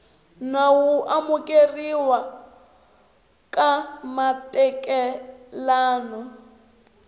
nawu wo amukeriwa ka matekanelo